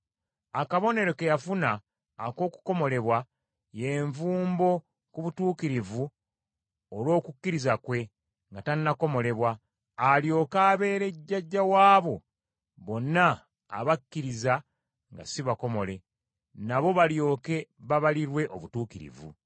Akabonero ke yafuna ak’okukomolebwa, ye nvumbo ku butuukirivu olw’okukkiriza kwe, nga tannakomolebwa, alyoke abeere jjajja w’abo bonna abakkiriza nga si bakomole, nabo balyoke babalirwe obutuukirivu.